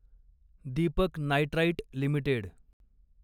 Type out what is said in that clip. Deepak nitrite limited